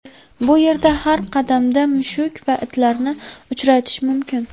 Bu yerda har qadamda mushuk va itlarni uchratish mumkin.